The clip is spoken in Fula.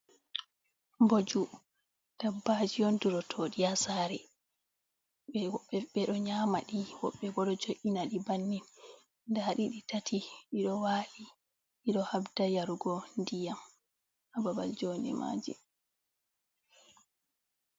Mboju dabbaji on durotoɗi ha sare, ɓedo nyamadi, woɓɓe bo ɗo jo’inaɗi bannin, nda ɗi ɗi tati ɗiɗo wali, ɗiɗo habda yarugo ndiyam ha babal jo nde maji.